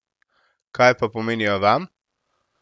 Kaj pa pomenijo vam?